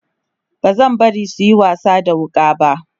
bazan bari suyi wasa da wuƙa ba